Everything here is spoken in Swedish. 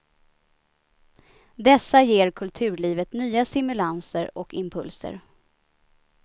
Dessa ger kulturlivet nya stimulanser och impulser.